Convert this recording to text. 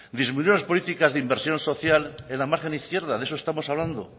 disminuir las políticas de inversión social en la margen izquierda de eso estamos hablando